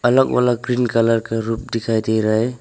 अलग वाला green colour का रुफ दिखाई दे रहा है।